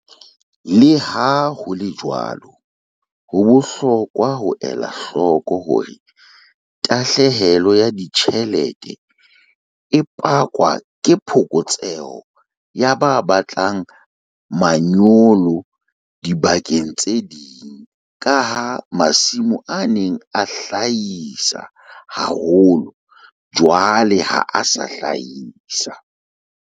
Le ha ho le jwalo, ho bohlokwa ho ela hloko hore tahlehelo ya ditjhelete e pakwa ke phokotseho ya ba batlang manyolo dibakeng tse ding ka ha masimo a neng a hlahisa haholo jwale ha a sa hlahisa.